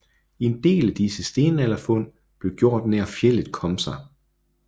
En del af disse stenalderfund blev gjort nær fjeldet Komsa